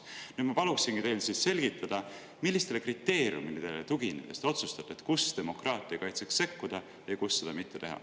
Nüüd ma paluksingi teil selgitada, millistele kriteeriumidele tuginedes te otsustate, kus demokraatia kaitseks sekkuda ja kus seda mitte teha.